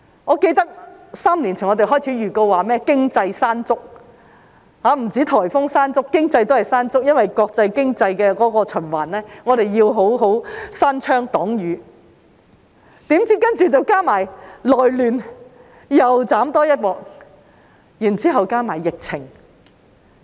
我記得3年前我們開始預告經濟"山竹"——不止是颱風"山竹"，經濟也有"山竹"——因為國際經濟的循環，我們要好好關窗擋雨，豈料隨後加上內亂，再遭蹂躪，之後加上疫情。